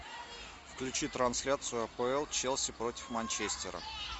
включи трансляцию апл челси против манчестера